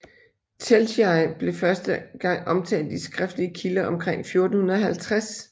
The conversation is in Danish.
Telšiai blev første gang omtalt i skriftlige kilder omkring 1450